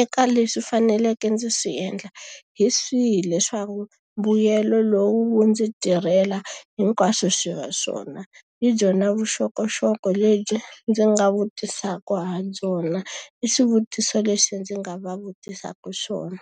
eka leswi faneleke ndzi swi endla, hi swihi leswaku mbuyelo lowu ndzi tirhela hinkwaswo swi va swona? Hi byona vuxokoxoko lebyi ndzi nga vutisaka ha byona, i swivutiso leswi ndzi nga va vutisaka swona.